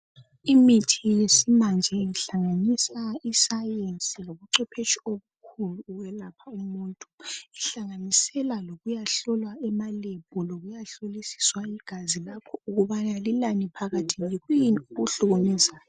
Imithi yesimanje ihlanganisa iscience lobucwepheshe obukhulu ukwelapha umuntu ihlanganisela lokuya hlolwa ema lab lokuyahlolisiswa igazi lakho ukuba lilani phakathi yikuyini okukuhlukumezayo.